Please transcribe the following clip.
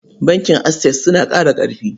Bankin Access suna ƙara ƙarfi.